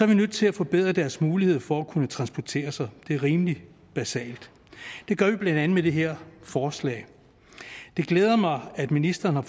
vi nødt til at forbedre deres mulighed for at kunne transportere sig det er rimelig basalt og det gør vi blandt andet med det her forslag det glæder mig at ministeren har